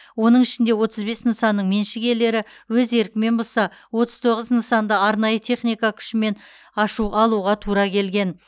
оның ішінде отыз бес нысанның меншік иелері өз еркімен бұзса отыз тоғыз нысанды арнайы техника күшімен ашу алуға тура келген